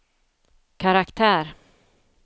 karaktär